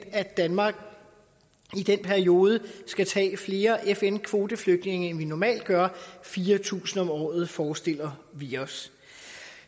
at danmark i den periode skal tage flere fn kvoteflygtninge end vi normalt gør fire tusind om året forestiller vi os